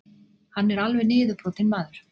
Hann er alveg niðurbrotinn maður.